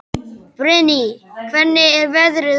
Brynný, hvernig er veðrið úti?